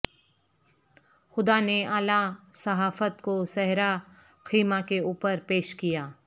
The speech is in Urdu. خدا نے اعلی صحافت کو صحرا خیمہ کے اوپر پیش کیا